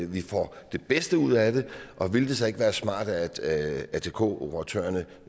vi får det bedste ud af det og ville det så ikke være smart at atk operatørerne